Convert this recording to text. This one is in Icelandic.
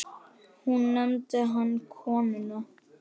Nú nefndi hann konuna